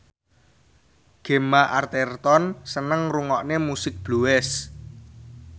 Gemma Arterton seneng ngrungokne musik blues